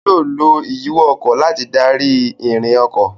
Yóò lo ìyíwọ́ ọkọ̀ láti darí ìrìn ọkọ̀.